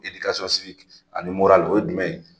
ani o ye jumɛn ye ?